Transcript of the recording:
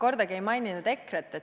Esiteks, ma ei maininud kordagi EKRE-t.